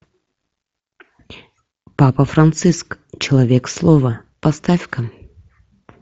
папа франциск человек слова поставь ка